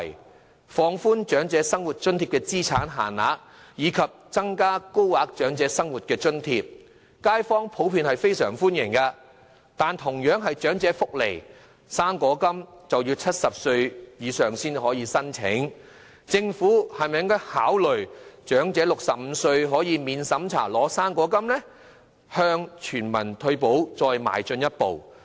對於政府放寬長者生活津貼的資產限額，以及增加高額長者生活津貼，街坊普遍表示歡迎，但同樣屬長者福利的"生果金"，卻要70歲以上人士才可申請，政府應否考慮讓年滿65歲的長者免審查領取"生果金"，向全民退保邁進一步呢？